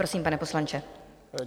Prosím, pane poslanče.